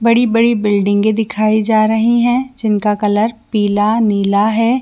बड़ी-बड़ी बिल्डिंगें दिखाई जा कलर रही है जिनका कलर पीला नीला है।